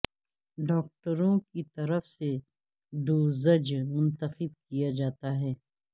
ڈاکٹروں کی طرف سے ڈوزج منتخب کیا جاتا ہے